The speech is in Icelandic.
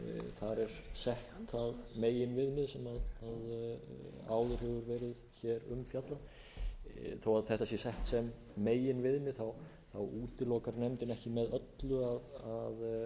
það meginviðmið sem áður hefur verið fjallað um þó að þetta sé sett sem meginviðmið útilokar nefndin ekki með öllu að einstök tilfelli